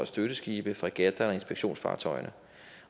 støtteskibe fregatter og inspektionsfartøjer